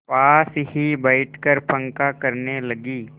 पास ही बैठकर पंखा करने लगी